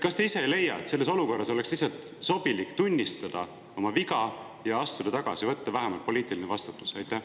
Kas te ise ei leia, et selles olukorras oleks lihtsalt sobilik tunnistada oma viga ja astuda tagasi, võtta vähemalt poliitiline vastutus?